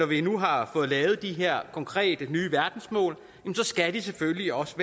vi nu har fået lavet de her konkrete nye verdensmål at de selvfølgelig også